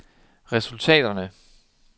resultaterne